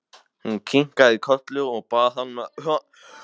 Hún kinkaði kolli og bað hann að fara varlega.